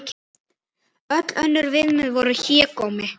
Öll önnur viðmið voru hégómi.